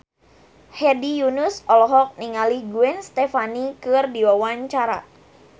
Hedi Yunus olohok ningali Gwen Stefani keur diwawancara